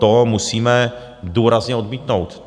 To musíme důrazně odmítnout.